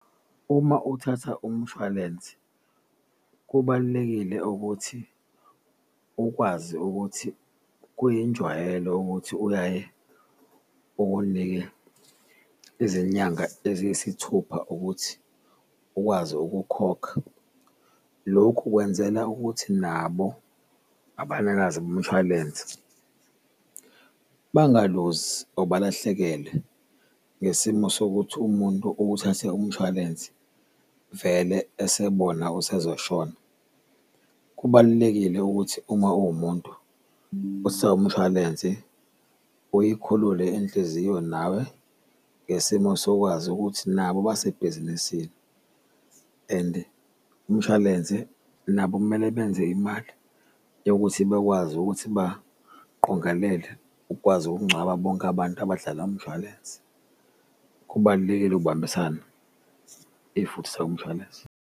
Uma uthatha umshwalensi kubalulekile ukuthi ukwazi ukuthi kuyinjwayelo ukuthi uyaye ukunike izinyanga eziyisithupha ukuthi ukwazi ukukhokha. Lokhu kwenzela ukuthi nabo abanikazi bomshwalense bangaluzi or balahlekelwe ngesimo sokuthi umuntu uwuthathe umshwalensi vele esebona usezoshona. Kubalulekile ukuthi uma uwumuntu umshwalensi uyikhululile inhliziyo nawe ngesimo sokwazi ukuthi nabo basebhizinisini, endi umshwalense nabo kumele benze imali yokuthi bekwazi ukuthi baqongelele ukukwazi ukungcwaba bonke abantu abadlala umshwalensi. Kubalulekile ukubambisana if uthatha umshwalensi.